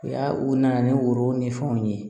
Ya u nana ni woro ni fɛnw ye